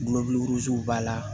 b'a la